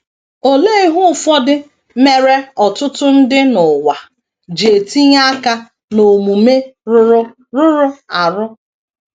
Olee ihe ụfọdụ mere ọtụtụ ndị n’ụwa ji etinye aka n’omume rụrụ rụrụ arụ?